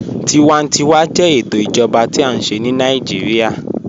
Tíwàntíwà jẹ ètò ìjọba tí a nṣẹ̀ ni Naijiria.